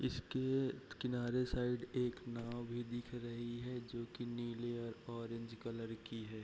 इसके किनारे साइड एक नाव भी दिख रही है जो की नीले और ओरेंज कलर की है।